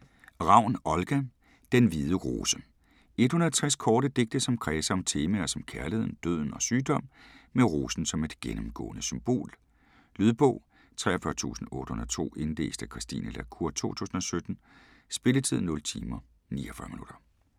Ravn, Olga: Den hvide rose 160 korte digte som kredser om temaer som kærligheden, døden og sygdom med rosen som et gennemgående symbol. Lydbog 43802 Indlæst af Christine la Cour, 2017. Spilletid: 0 timer, 49 minutter.